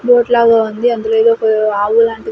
boat లాగా ఉంది అందులో ఎదో పె ఆవు లాంటిది --